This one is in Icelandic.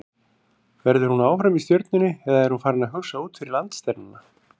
Verður hún áfram í Stjörnunni eða er hún farin að hugsa út fyrir landsteinana?